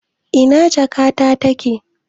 Ina jakata take?